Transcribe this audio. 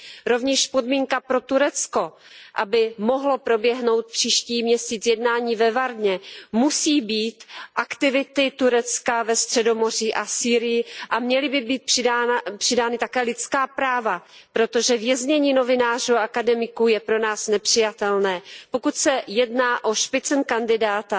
Rovněž podmínka pro Turecko, aby mohlo proběhnout příští měsíc jednání ve Varně, musí být ukončeny aktivity Turecka ve Středomoří a v Sýrii a měla by být přidána také lidská práva, protože věznění novinářů a akademiků je pro nás nepřijatelné. Pokud se jedná o proces Spitzenkandidaten